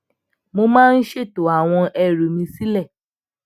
mo máa ń ṣètò àwọn ẹrù mi sile